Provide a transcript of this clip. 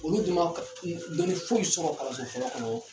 Olu dun man dɔnni foyi sɔrɔ kalanso fɔlɔ kɔnɔ.